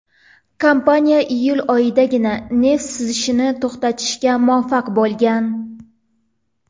Kompaniya iyul oyidagina neft sizishini to‘xtatishga muvaffaq bo‘lgan.